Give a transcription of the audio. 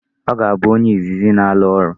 Ọ ga-abụ onye izizi n'ala ọrụ.